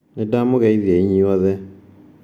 Nĩ ndamũgeithia inyuothe.